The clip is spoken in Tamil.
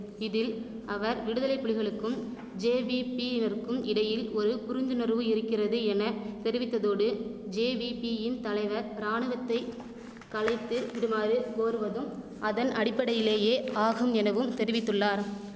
இதில் அவர் விடுதலை புலிகளுக்கும் ஜேவீபீயினருக்கும் இடையில் ஒரு புரிந்துணர்வு இருக்கிறது என தெரிவித்ததோடு ஜேவீபீயின் தலைவர் ராணுவத்தை கலைத்து விடுமாறு கோருவதும் அதன் அடிப்படையிலேயே ஆகும் எனவும் தெரிவித்துள்ளார்